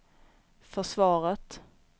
försvaret